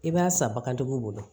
I b'a san bagantigiw bolo